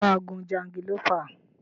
Ṣé o máa gun jangilófà?